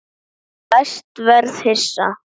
Ég læst verða hissa.